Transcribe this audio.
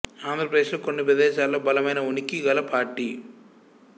ఆంధ్ర ప్రదేశ్ లో కొన్ని ప్రదేశాలలో బలమైన ఉనికి గల పార్టీ